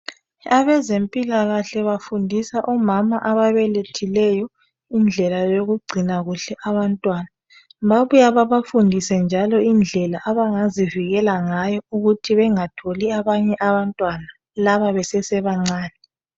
Abezempilakahle bafundisa omama ababelethileyo indlela yokugcina kuhle abantwana. Bbabuye bebafundise njalo indlela abangazivikela ngayo ukuthi bengatholi abanye abantwana laba besesebancane.